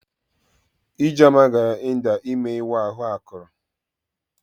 Ijeoma gara India ime ịwa ahụ akụrụ.